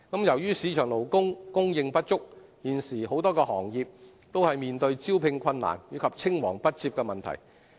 由於市場勞工供應不足，現時很多行業都面對招聘困難，以及青黃不接的問題。